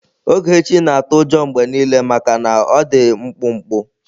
Ogechi na-atụ ụjọ mgbe niile maka na ọ dị mkpụmkpụ.